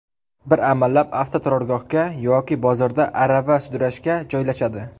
Bir amallab avtoturargohga yoki bozorda arava sudrashga joylashadi.